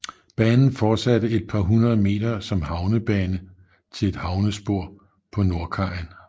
Banen fortsatte et par hundrede meter som havnebane til et havnespor på nordkajen